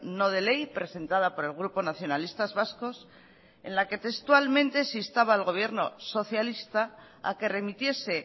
no de ley presentada por el grupo nacionalistas vascos en la que textualmente se instaba al gobierno socialista a que remitiese